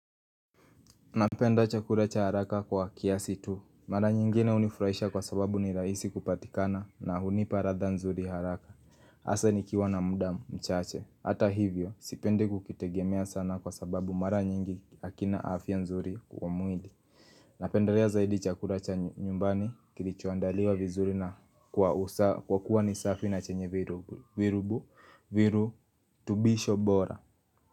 Napenda chakura cha haraka kwa kiasi tu. Mara nyingine unifurahisha kwa sababu ni raisi kupatikana na hunipa ratha nzuri haraka. Asa nikiwa na mda mchache. Hata hivyo, sipendi kukitegemea sana kwa sababu mara nyingi hakina afia nzuri kwa mwili. Napendelea zaidi chakura cha nyumbani kilichoandaliwa vizuri na kwa kuwa nisafi na chenye virubu. Viru tubisho bora.